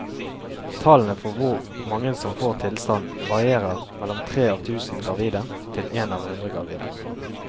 Tallene for hvor mange som får tilstanden varierer mellom tre av tusen gravide til en av hundre gravide.